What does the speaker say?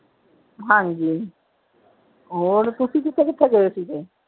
ਹਾਂਜੀ, ਹੋਰ ਤੁਸੀਂ ਕਿਥੇ ਕਿਥੇ ਗਏ ਸੀਗੇ?